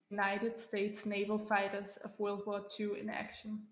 United States Naval Fighters of World War II in Action